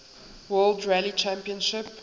world rally championship